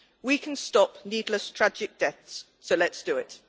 We can stop needless, tragic deaths so let us do it.